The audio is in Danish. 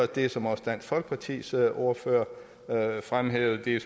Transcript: det som også dansk folkepartis ordfører fremhævede